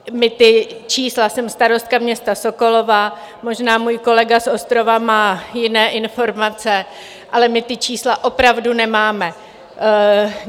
My ta čísla - jsem starostka města Sokolova, možná můj kolega z Ostrova má jiné informace - ale my ta čísla opravdu nemáme.